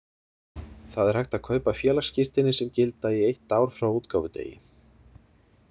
Það er hægt að kaupa félagsskírteini sem gilda í eitt ár frá útgáfudegi.